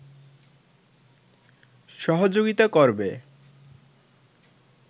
সহযোগিতা করবে